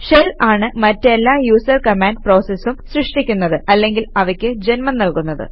shell ആണ് മറ്റെല്ലാ user command പ്രോസസസും സൃഷ്ടിക്കുന്നത് അല്ലെങ്കിൽ അവയ്ക്ക് ജന്മം നല്കുന്നത്